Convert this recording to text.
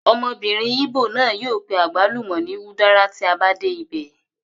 Ọmọbìnrin ìgbò náà yóò pe àgbálùmọ̀ ní udara tí a bá dé ibẹ̀